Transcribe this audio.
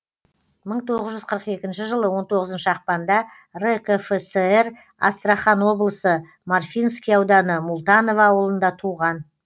мың тоғыз жүз қырық екінші жылы он тоғызыншы ақпанда ркфср астрахан облысы марфинский ауданы мултаново ауылында туған